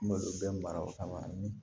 N b'olu bɛɛ mara o kama ni